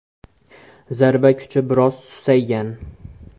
Zarba kuchi biroz susaygan.